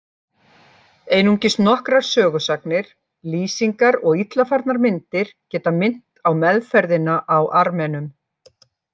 Einungis nokkrar sögusagnir, lýsingar og illa farnar myndir geta minnt á meðferðina á Armenum.